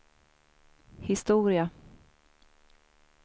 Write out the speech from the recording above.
historia